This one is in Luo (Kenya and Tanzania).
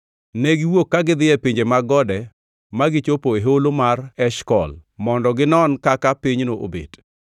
Ne giwuok ka gidhi e pinje mag gode ma gichopo e Holo mar Eshkol mondo ginon kaka pinyno obet.